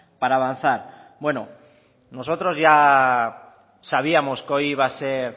para avanzar bueno nosotros ya sabíamos que hoy iba a ser